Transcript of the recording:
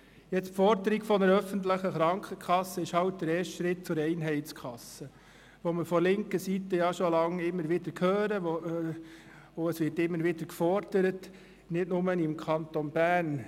Die Forderung nach einer öffentlichen Krankenkasse ist halt der erste Schritt zur Einheitskasse, die wir von linker Seite schon seit langer Zeit immer wieder hören, und dies wird immer wieder gefordert – nicht nur im Kanton Bern.